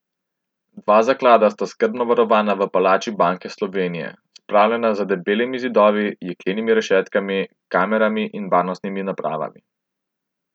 Dva zaklada sta skrbno varovana v palači Banke Slovenije, spravljena za debelimi zidovi, jeklenimi rešetkami, kamerami in varnostnimi napravami.